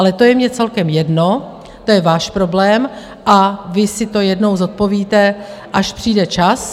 Ale to je mně celkem jedno, to je váš problém, a vy si to jednou zodpovíte, až přijde čas.